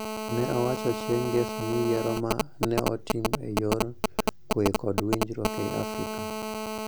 Nowacho chieng' Ngeso ni yiero ma ne otim e yor kuwe kod winjruok e Afrika